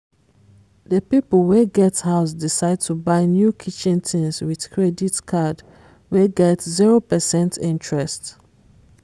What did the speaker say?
the people wey get house decide to buy new kitchen things with credit card wey get 0 percent interest